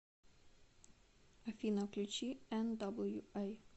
афина включи эн даблю эй